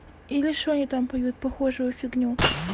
или что они там поют похожую фигню